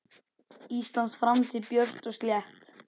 Íslands framtíð björt og slétt.